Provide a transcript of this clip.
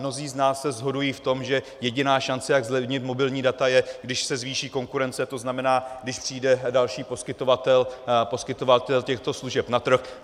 Mnozí z nás se shodují v tom, že jediná šance, jak zlevnit mobilní data, je, když se zvýší konkurence, to znamená, když přijde další poskytovatel těchto služeb na trh.